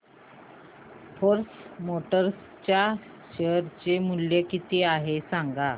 force Motors च्या share चे मूल्य किती आहे सांगा